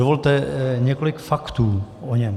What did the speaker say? Dovolte několik faktů o něm.